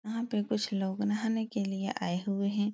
यहाँ पे कुछ लोग नहाने के लिए आए हुए हैं ।